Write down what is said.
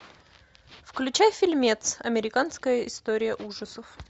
включай фильмец американская история ужасов